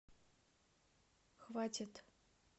хватит